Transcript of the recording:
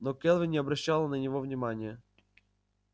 но кэлвин не обращала на него внимания